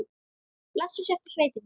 Blessuð sértu sveitin mín!